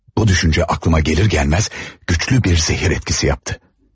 Bu düşüncə ağlıma gəlir gəlməz, güclü bir zəhər etkisi yapdı.